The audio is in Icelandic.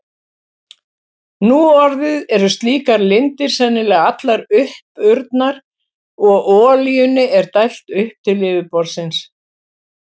Nú orðið eru slíkar lindir sennilega allar uppurnar og olíunni er dælt upp til yfirborðsins.